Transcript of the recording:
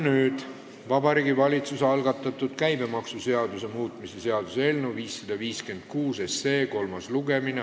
Nüüd on Vabariigi Valitsuse algatatud käibemaksuseaduse muutmise seaduse eelnõu 556 kolmas lugemine.